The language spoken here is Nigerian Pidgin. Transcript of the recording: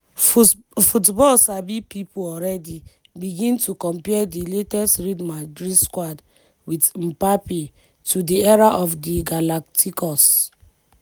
football sabi pipo alreadi begin to compare di latest real madrid squad wit mpabbe to di era of di galacticos.